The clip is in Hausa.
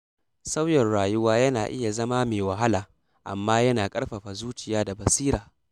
Sauyin rayuwa yana iya zama me wahala, amma yana ƙarfafa zuciya da basira.